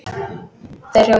Þeir hrjóta.